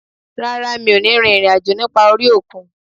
Rárá, mi ò ní rin ìrìn àjò nípa orí òkun